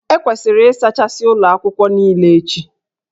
E kwesịrị ịsachasị ụlọ akwụkwọ niile echi